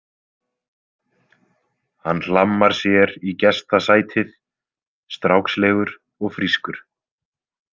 Hann hlammar sér í gestasætið, strákslegur og frískur.